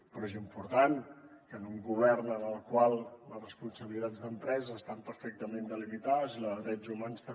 però és important que en un govern en el qual les responsabilitats d’empreses estan perfectament delimitades i la de drets humans també